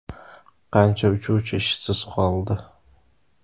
Qancha uchuvchi ishsiz qoldi?